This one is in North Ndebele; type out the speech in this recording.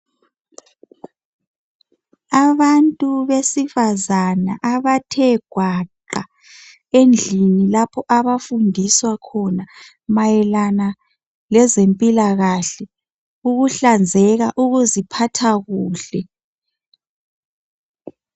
Abantu besifazana abathe gwaqa endlini lapho abafundiswa khona mayelana lezempilakahle, ukuhlanzeka, ukuziphatha kuhle.